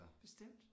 Bestemt